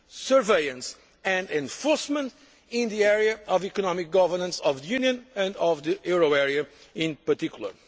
surveillance and enforcement in the area of the economic governance of the Union and of the euro area in particular.